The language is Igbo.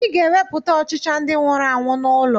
Ị ga-ewepụkwa ọchịcha ndị nwụrụ anwụ n'ụlọ